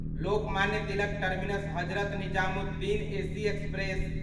Lokmanya Tilak terminus Hazrat Nizamuddin AC express